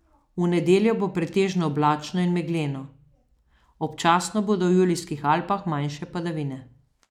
V nedeljo bo pretežno oblačno in megleno, občasno bodo v Julijskih Alpah manjše padavine.